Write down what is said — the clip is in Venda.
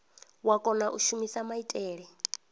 wa kona u shumisa maitele